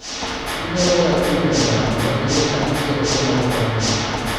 Inyalo yawo imel na mondo ing'i ka nitie ote moko manyien.